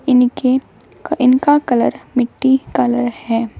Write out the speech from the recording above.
इनके इनका कलर मिट्टी कलर है।